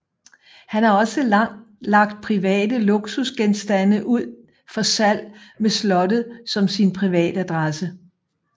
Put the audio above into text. Han har også lagt private luksusgenstande ud for salg med slottet som sin privatadresse